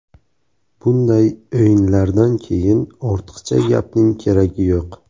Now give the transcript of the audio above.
Bunday o‘yinlardan keyin ortiqcha gapning keragi yo‘q.